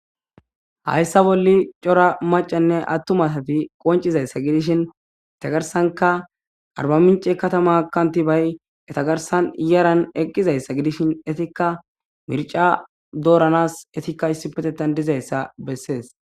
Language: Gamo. Hayssa bolli cora macanne attumatati qoncizayssa gidishin etagarsanka arba mince katama kanti bay etagarsan iyaran eqqizayssa gidishin etikka mirca dooranas etikka issipetetan dizayssa bessees